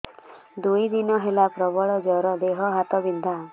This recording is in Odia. ଦୁଇ ଦିନ ହେଲା ପ୍ରବଳ ଜର ଦେହ ହାତ ବିନ୍ଧା